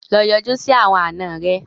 Lọ yọjú sì àwọn àna rẹ!